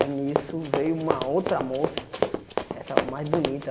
Aí, nisso, veio uma outra moça, essa mais bonita.